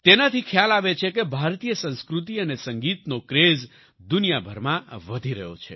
તેનાથી ખ્યાલ આવે છે કે ભારતીય સંસ્કૃતિ અને સંગીતનો ક્રેઝ દુનિયાભરમાં વધી રહ્યો છે